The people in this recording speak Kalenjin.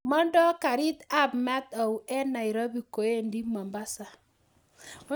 Mondo garit ab maat au en nairobi koendi mombasa